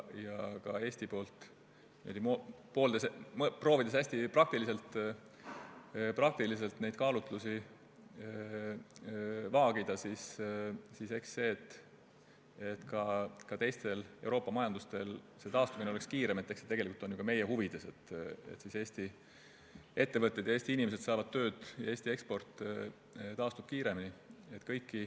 Proovides Eesti poolt neid kaalutlusi hästi praktiliselt vaagida, siis eks ole ju teiste Euroopa riikide majanduse kiirem taastumine tegelikult ju ka meie huvides, sest siis saavad Eesti ettevõtted ja Eesti inimesed tööd ning Eesti eksport taastub kiiremini.